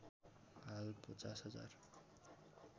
हाल ५० हजार